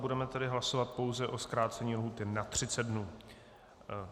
Budeme tedy hlasovat pouze o zkrácení lhůty na 30 dnů.